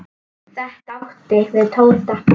Þetta átti við Tóta.